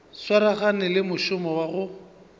swaragane le mošomo wa go